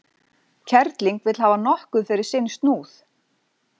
Kerling vill hafa nokkuð fyrir sinn snúð.